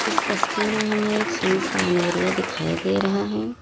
इस तस्वीर में हमें एक सुनसान एरिया दिखाई दे रहा है।